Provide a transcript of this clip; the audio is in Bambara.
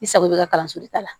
I sago bɛ ka kalanso de ta la